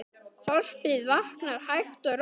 Þorpið vaknar hægt og rólega.